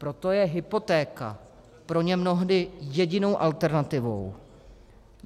Proto je hypotéka pro ně mnohdy jedinou alternativu.